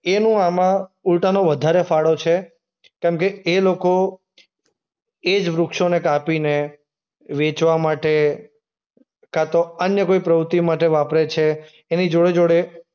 એનું આમાં ઉલટાનું વધારે ફાળો છે. કેમકે એ લોકો એ જ વૃક્ષોને કાપીને વહેંચવા માટે કાંતો અન્ય કોઈ પ્રવૃત્તિ માટે વાપરે છે એની જોડે-જોડે